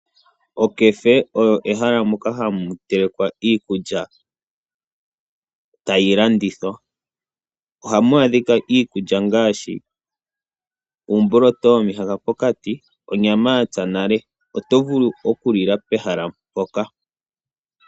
Okefe oyo ehala moka hamu telekwa iikulya, tayi landithwa. Ohamu adhika iikulya ngaashi uumboloto womihaka pokati, onyama yatsa nale. Oto vulu oku lila pehala mpoka.